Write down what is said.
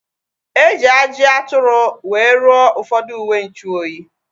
Eji ajị atụrụ wee rụọ ụfọdụ uwenchuoyi